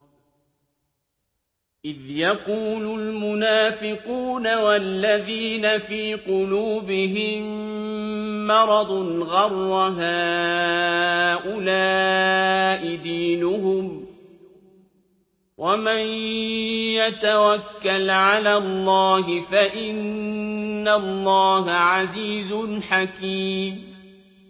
إِذْ يَقُولُ الْمُنَافِقُونَ وَالَّذِينَ فِي قُلُوبِهِم مَّرَضٌ غَرَّ هَٰؤُلَاءِ دِينُهُمْ ۗ وَمَن يَتَوَكَّلْ عَلَى اللَّهِ فَإِنَّ اللَّهَ عَزِيزٌ حَكِيمٌ